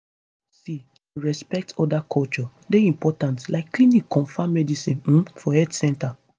see to respect oda culture dey important like clinic confam medicine um for health center